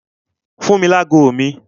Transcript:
Fún mi ní ago mi!